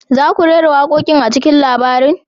Za ku rera waƙoƙin a cikin labarin?